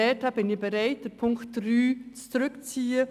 Deshalb bin ich bereit, Punkt 3 zurückzuziehen.